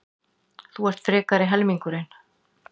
Þú ert frekari helmingurinn.